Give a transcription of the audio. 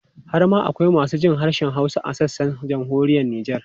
Har ma akwai masu jin harshen Hausa a sassan Jamhuriyar Nijar.